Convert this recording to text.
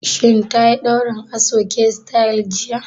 Shin tayi ɗaurin aso-oke sityl jiya?